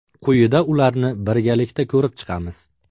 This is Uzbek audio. Quyida ularni birgalikda ko‘rib chiqamiz.